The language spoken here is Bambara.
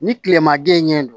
Ni kilema den ɲɛ don